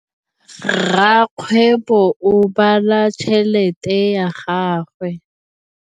Rakgwêbô o bala tšheletê ya gagwe.